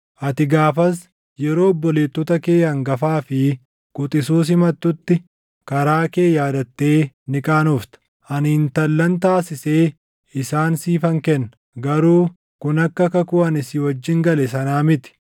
Ati gaafas yeroo obboleettota kee hangafaa fi quxisuu simattutti, karaa kee yaadattee ni qaanofta. Ani intallan taasisee isaan siifan kenna; garuu kun akka kakuu ani si wajjin gale sanaa miti.